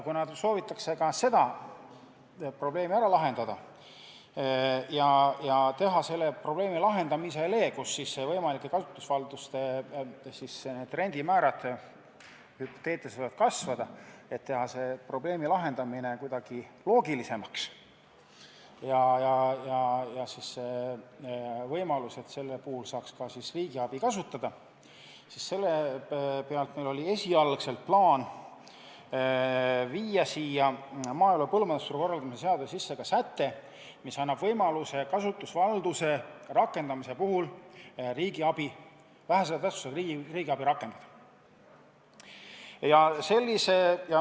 Kuna soovitakse ka seda probleemi lahendada ning teha selle probleemi lahendamine, et võimalike kasutusvalduste rendimäärad võivad hüpoteetiliselt kasvada, kuidagi loogilisemaks ja võimaldada siingi riigiabi kasutada, siis oli meil esialgu plaan viia maaelu ja põllumajandusturu korraldamise seadusesse sisse säte, mis annaks kasutusvalduse rakendamise puhul võimaluse kaasata vähese tähtsusega riigiabi.